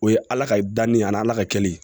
O ye ala ka danni a ni ala ka kɛli ye